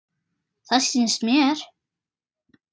Það sýnist mér.